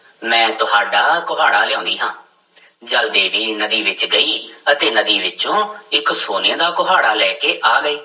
ਮੈਂ ਤੁਹਾਡਾ ਕੁਹਾੜਾ ਲਿਆਉਂਦੀ ਹਾਂ ਜਲ ਦੇਵੀ ਨਦੀ ਵਿੱਚ ਗਈ ਅਤੇ ਨਦੀ ਵਿੱਚੋਂ ਇੱਕ ਸੋਨੇ ਦਾ ਕੁਹਾੜਾ ਲੈ ਕੇ ਆ ਗਈ।